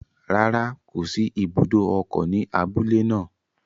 Rárá, kò sí ibùdó ọkọ̀ ní abúlé naa